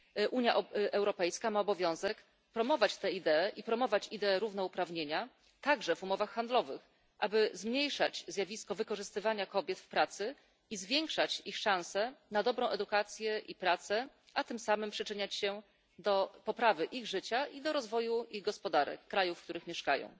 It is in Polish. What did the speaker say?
Unia Europejska ma obowiązek promować ideę równouprawnienia także w umowach handlowych, aby zmniejszać zjawisko wykorzystywania kobiet w pracy i zwiększać ich szanse na dobrą edukację i pracę, a tym samym przyczyniać się do poprawy ich życia i do rozwoju gospodarek krajów, w których mieszkają.